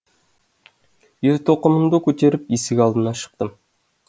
ер тоқымымды көтеріп есік алдына шықтым